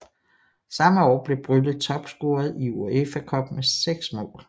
Samme år blev Brylle topscorer i UEFA Cup med seks mål